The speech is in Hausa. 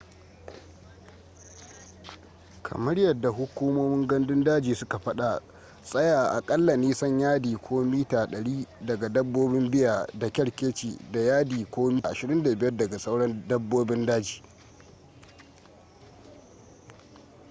kamar yadda hukumomin gandun daji suka fada tsaya aƙalla nisan yadi/mita 100 daga dabbobin bear da kerkeci da yadi/mita 25 daga sauran dabbobin daji!